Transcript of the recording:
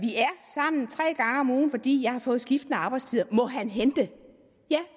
sammen tre gange om ugen fordi jeg har fået skiftende arbejdstider må han hente ja